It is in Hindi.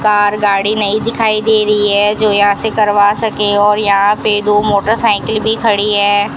कार गाड़ी नई दिखाई दे रही है जो यहां से करवा सके और यहां पे दो मोटरसाइकिल भी खड़ी है।